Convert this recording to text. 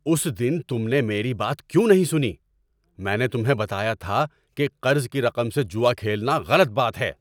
اس دن تم نے میری بات کیوں نہیں سنی؟ میں نے تمہیں بتایا تھا کہ قرض کی رقم سے جوا کھیلنا غلط بات ہے۔